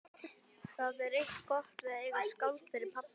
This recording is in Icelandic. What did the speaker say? Það er eitt gott við að eiga skáld fyrir pabba.